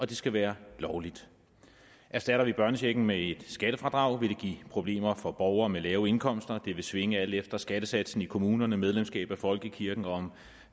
det skal være lovligt erstatter vi børnechecken med et skattefradrag vil det give problemer for borgere med lave indkomster det vil svinge alt efter skattesatsen i kommunerne medlemskab af folkekirken og om